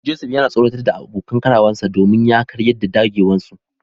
Joseph yana tsoratar da abokan karawarsa domin ya karyar da dagewarsu.